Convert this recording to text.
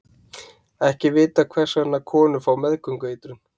Ekki er vitað hvers vegna konur fá meðgöngueitrun.